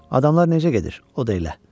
Adamlar necə gedir, o da elə.